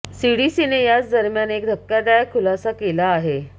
सीडीसीने याच दरम्यान एक धक्कादायक खुलासा केला आहे